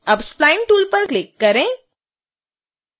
अब spline tool पर click करें